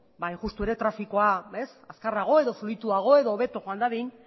ba hain justu ere trafikoa ez azkarrago edo fluituago edo hobeto joan dadin